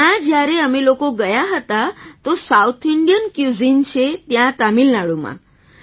ત્યાં જ્યારે અમે લોકો ગયા હતા તો સાઉથ ઇન્ડિયન ક્યુઝિન છે ત્યાં તમિલનાડુમાં